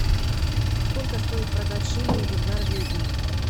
сколько стоит продать шиллинги в норвегии